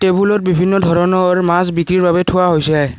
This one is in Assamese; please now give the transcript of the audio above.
টেবুলত বিভিন্ন ধৰণৰ মাছ বিক্ৰীৰ বাবে থোৱা হৈছে।